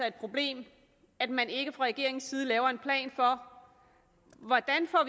et problem at man ikke fra regeringens side laver en plan for hvordan vi